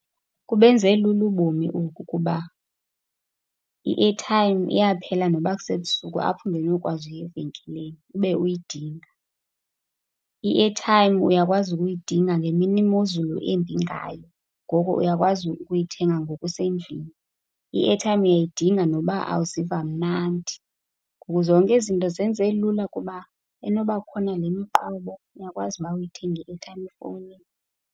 Kubenze lula ubomi oku kuba i-airtime iyaphela noba kusebusuku apho ungenokwazi uya evenkileni, ube uyidinga. I-airtime uyakwazi ukuyidinga ngemini imozulu imbi ngayo, ngoko uyakwazi ukuyithenga ngoku usendlini. I-airtime uyayidinga noba awuziva mnandi. Ngoku zonke ezi zinto izenze lula kuba inoba kukhona le miqobo, uyakwazi ukuba uyithenge i-airtime efowunini.